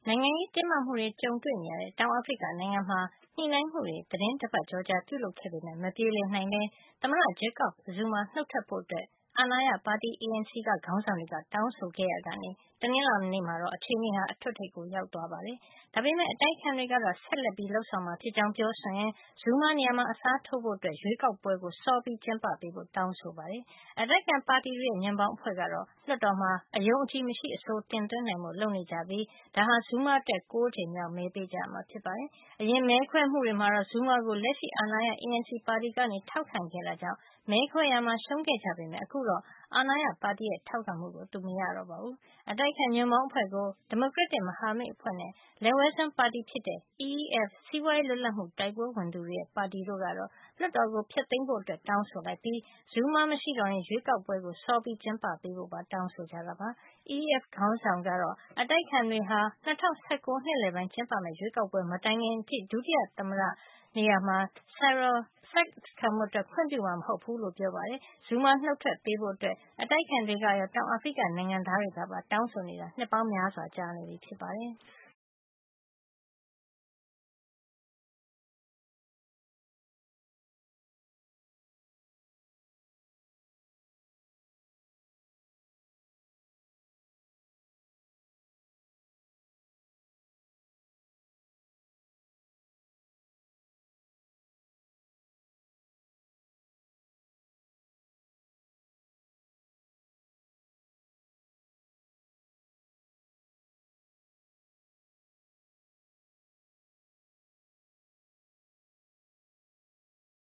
ိုင်ငံရေးတင်းမာမှုတွေ ကြုံနေရတဲ့ တောင်အာဖရိက နိုင်ငံမှာ ညှိနှိုင်းမှုတွေ သီတင်းတပတ်ကျော်ကြာ ပြုလုပ်ခဲ့ပေမယ့် မပြေလည်နိုင်ပဲ သမ္မတ Jacob Zuma နုတ်ထွက်ဖို့ အာဏာရ ပါတီ ANC က ခေါင်းဆောင်တွေက တောင်းဆိုခဲ့ရာကနေ တနင်္လာနေ့မှာတော့ အခြေနေဟာ အထွဋ်အထိပ်ကို ရောက်ခဲ့ပါတယ်။ ဒါပေမယ့် အတိုက်အခံတွေကတော့ ဆက်လက်လုပ်ဆောင်မှာ ဖြစ်ကြောင်း ပြောဆိုရင်း Zuma နေရာမှာ အစားထိုးဖို့ ရွေးကောက်ပွဲကို စောပြီးကျင်းပပေးဖို့ တောင်းဆိုနေကြပါတယ်။ အတိုက်အခံပါတီတွေရဲ့ ညွန့်ပေါင်းအဖွဲ့ ကတော့ လွှတ်တော်မှာ အယုံအကြည်မရှိ အဆိုတင်သွင်းနိုင်ဖို့ လုပ်နေကြပြီး ဒါဟာ Zuma အတွက် ၉ ကြိမ်မြောက် မဲပေးကြမှာ ဖြစ်ပါတယ်။ အရင် မဲခွဲမှုတွေမှာတော့ Zuma ကို လက်ရှိအာဏာရ ANC ပါတီက ထောက်ခံခဲ့တာကြောင့် မဲခွဲရာမှာ ရှုံးခဲ့ကြပေမယ့် အခုတော့ အာဏာရပါတီရဲ့ ထောက်ခံမှုကို သူ မရတော့ပါဘူး။ အတိုက်အခံ ညွှန့်ပေါင်းအဖွဲ့ကို ဒီမိုကရက်တစ်မဟာမိတ်အဖွဲ့နဲ့ လက်ဝဲစွန်းပါတီဖြစ်တဲ့ EFF စီးပွါးရေးလွတ်လပ်မှု တိုက်ပွဲဝင်သူတွေရဲ့ပါတီ တို့ကတော့ လွှတ်တော်ကို ဖျက်သိမ်းဖို့ တောင်းဆိုပြီး Zuma မရှိတော့ရင် ရွေးကောက်ပွဲကို စောပြီး ကျင်းပပေးဖို့ ပါ တောင်းဆိုကြတာပါ။ EFF ခေါင်းဆောင် Julius Malema ကတော့ အတိုက်အခံတွေဟာ ၂၀၁၉ နှစ်လည်ပိုင်း ကျင်းပမယ့် ရွေးကောက်ပွဲ မတိုင်ခင်အထိ ဒုတိယ သမ္မတ Cyril Ramaphosa ကို Zuma နေရာ ဆက်ခံဖို့ ခွင့်ပြုမှာ မဟုတ်ကြောင်း ပြောပါတယ်။ Zuma နုတ်ထွက်ပေးဖို့ အတိုက်အခံတွေကရော တောင်အာဖရိက နိုင်ငံသားတွေကပါ တောင်းဆိုနေကြတာ နှစ်ပေါင်းများစွာ ကြာနေပြီ ဖြစ်ပါတယ်။